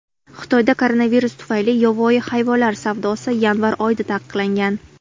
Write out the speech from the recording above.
Xitoyda koronavirus tufayli yovvoyi hayvonlar savdosi yanvar oyida taqiqlangan .